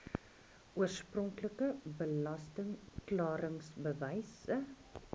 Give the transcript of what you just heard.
oorspronklike belasting klaringsbewys